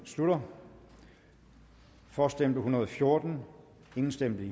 slutter for stemte en hundrede og fjorten imod stemte